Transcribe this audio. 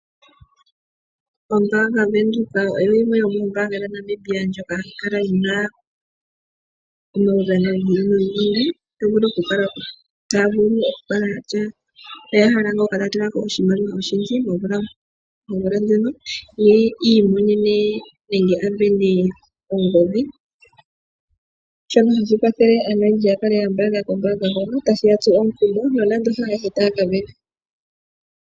Ombaanga Venduka oyo yimwe yomoombanga dhaNamibia ndjoka hayi kala yi na omaudhano gi ili nogi ili to vulu okukala ya tya oya hala okukala taya tula ko oshimaliwa oshindji momvula ndjono yi imonene nenge a sindane ongodhi. Shono hashi kwathele Aanamibia ya kale ya mbaanga kombaanga hono, tashi ya tsu omukumo nonando haayehe taya ka sindana.